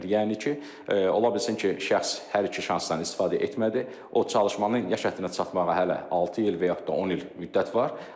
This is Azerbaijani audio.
Yəni ki, ola bilsin ki, şəxs hər iki şansdan istifadə etmədi, o çalışmanın yaş həddinə çatmağa hələ altı il və yaxud da 10 il müddət var.